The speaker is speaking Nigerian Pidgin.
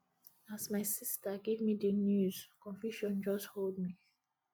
as my sista give me di news confusion just hold me